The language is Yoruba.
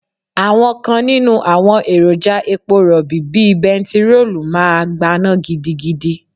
Àwọn kan nínú àwọn èròjà epo Rọ̀bì bíi bentiroolu máa gbaná gidigidi.